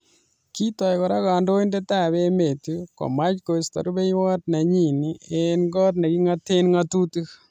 Kitoi kora kandoindet ab emet komach koisto rubeiywot nenyi engg kot nekingate ngatutik.